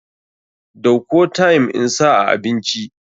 Dauko thyme insa a abinci.